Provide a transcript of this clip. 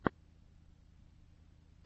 что найдется из видеокомпиляций май литтл насти